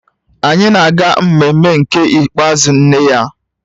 Anyị na-aga mmemme nke ikpeazụ nne ya